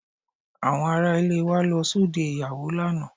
Àwọn ará ilé wa lọ sóde ìyàwó lánàá